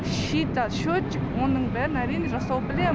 шита счетчик оның бәрін әрине жасау білем